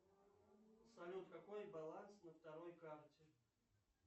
салют какой баланс на второй карте